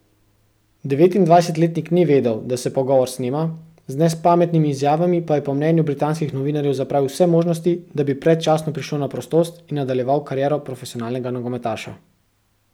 Devetindvajsetletnik ni vedel, da se pogovor snema, z nespametnimi izjavami pa je po mnenju britanskih novinarjev zapravil vse možnosti, da bi predčasno prišel na prostost in nadaljeval kariero profesionalnega nogometaša.